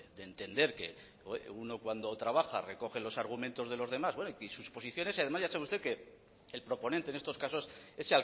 de entender que uno cuando trabaja recoge los argumentos de los demás y sus posiciones y además ya sabe usted que el proponente en estos casos es